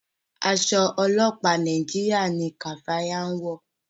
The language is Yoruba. Aṣọ ọlọpa Nàìjíríà ní kafaya ń wọ.